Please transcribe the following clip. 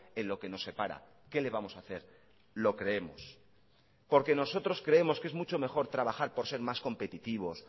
en lo que nos separa qué le vamos a hacer lo creemos porque nosotros creemos que es mucho mejor trabajar por ser más competitivos